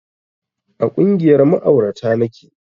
A ƙungiyar ma'aurata nake